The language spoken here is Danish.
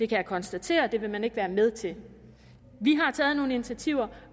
kan konstatere at det vil man ikke være med til vi har taget nogle initiativer